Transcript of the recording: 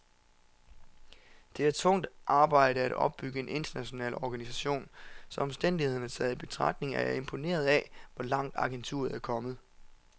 Det er tungt arbejde at opbygge en international organisation, så omstændighederne taget i betragtning er jeg imponeret af, hvor langt agenturet er kommet.